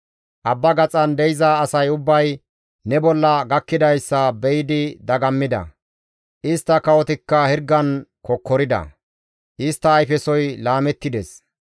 Abba gaxan de7iza asay ubbay ne bolla gakkidayssa be7idi dagammida. Istta kawotikka hirgan kokkorida; istta ayfesoy laamettides.